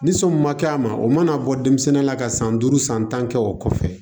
Ni so min ma kɛ a ma o mana bɔ denmisɛnnin la ka san duuru san tan kɛ o kɔfɛ